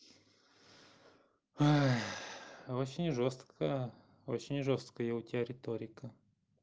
очень жёсткая очень жёсткая у тебя риторика